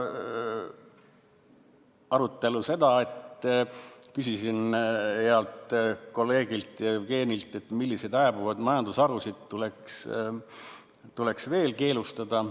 Arutelul küsisin healt kolleegilt Jevgenilt, milliseid hääbuvad majandusharusid tuleks veel keelustada.